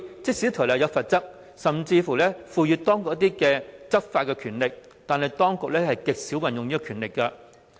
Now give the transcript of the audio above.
即使《條例》設有罰則，而且當局也有執法權力，但極少運用這項權力。